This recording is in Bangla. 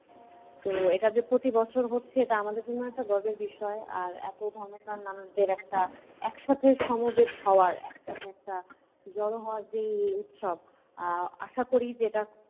তো এটা যে প্রতি বছর হচ্ছে এটা আমাদের জন্য একটা গর্বের বিষয়। আর এত ধর্মপ্রাণ মানুষদের একটা একসাথে সমবেত হওয়ার একটা জড়ো হওয়ার যে উৎসব আ~ আশা করি যে এটা